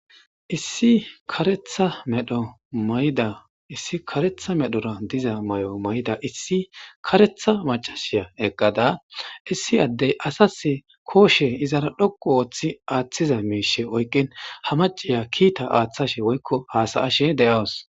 issi karetha medho mayda issi karetha medhora diza may7o mayda issi karetha macashiya eqqada issi addey asas kooshe izara dhoqu ooththi aaththiza miishe oyqqin ha maciya kiita aaththashe woykko haasayashe de7awus